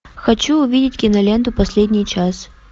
хочу увидеть киноленту последний час